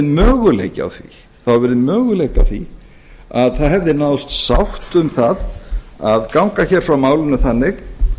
möguleiki á því að það hefði náðst sátt um það að ganga hér frá málinu þannig